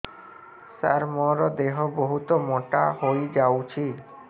ସାର ମୋର ଦେହ ବହୁତ ମୋଟା ହୋଇଯାଉଛି